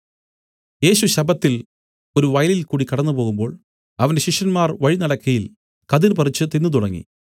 യേശു ശബ്ബത്തിൽ ഒരു വയലിൽകൂടി കടന്നുപോകുമ്പോൾ അവന്റെ ശിഷ്യന്മാർ വഴി നടക്കയിൽ കതിർ പറിച്ചു തിന്നുതുടങ്ങി